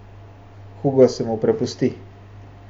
Hugo se mu prepusti.